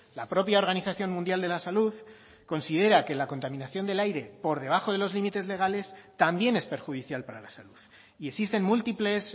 la propia organización mundial de la salud considera que la contaminación del aire por debajo de los límites legales también es perjudicial para la salud y existen múltiples